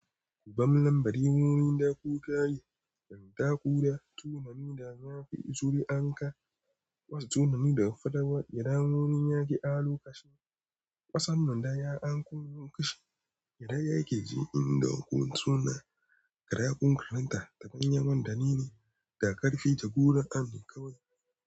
Gubam lambari, wuri da kuka yi, yanka kura, tunani da na fi tsori anka, wa tunani da fadawa, yanda wurin ya ke allokashi kasan nan da ya anko, yunƙashi idan yake ji in dau kun suna, kara kun karanta da danyen man dani ne, da ƙarfe ja gona an ne kawai.